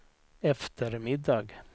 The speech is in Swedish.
eftermiddag